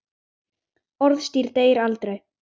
Orðstír deyr aldrei.